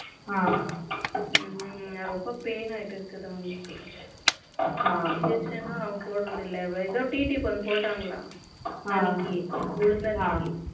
ரொம்ப pain ஆயிட்டு இருக்குதா உங்களுக்கு injection ம் போடறது இல்லை ஏதோ TT ஒன்னு போட்டாங்க அன்னைக்கு விழுந்த அன்னிக்கி